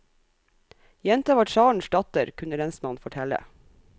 Jenta var tsarens datter kunne lensmannen fortelle.